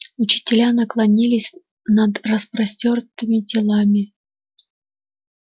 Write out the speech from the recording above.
учителя наклонились над распростёртыми телами